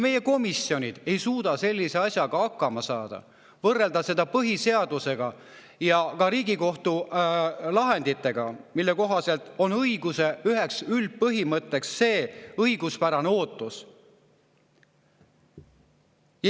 Meie komisjonid ei suuda hakkama saada sellise asjaga, et võrrelda seda põhiseadusega ja ka Riigikohtu lahenditega, mille kohaselt on õiguse üheks üldpõhimõtteks õiguspärane ootus.